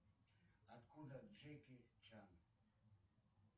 откуда джеки чан